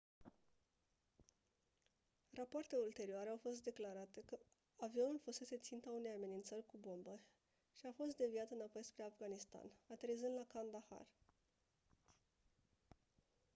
rapoarte ulterioare au declarat că avionul fusese ținta unei amenințări cu bomba și a fost deviat înapoi spre afganistan aterizând la kandahar